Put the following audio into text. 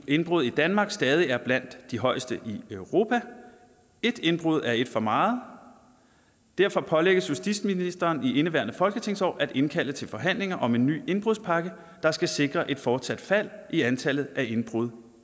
indbrud i danmark stadig er blandt de højeste i europa et indbrud er et for meget derfor pålægges justitsministeren i indeværende folketingsår at indkalde til forhandlinger om en ny indbrudspakke der skal sikre et fortsat fald i antallet af indbrud